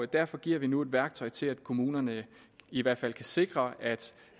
derfor giver vi nu et værktøj til at kommunerne i hvert fald kan sikre at